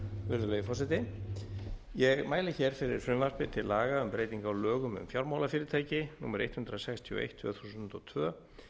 virðulegi forseti ég mæli hér fyrir frumvarpi til laga um breyting á lögum um fjármálafyrirtæki númer hundrað sextíu og eitt tvö þúsund og tvö